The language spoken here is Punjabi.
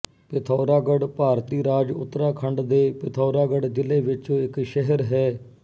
ਪਿਥੌਰਾਗੜ੍ਹ ਭਾਰਤੀ ਰਾਜ ਉਤਰਾਖੰਡ ਦੇ ਪਿਥੌਰਾਗੜ੍ਹ ਜ਼ਿਲ੍ਹੇ ਵਿੱਚ ਇੱਕ ਸ਼ਹਿਰ ਹੈ